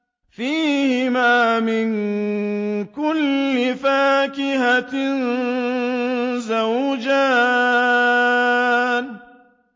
فِيهِمَا مِن كُلِّ فَاكِهَةٍ زَوْجَانِ